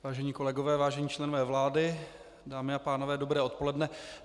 Vážení kolegové, vážení členové vlády, dámy a pánové, dobré odpoledne.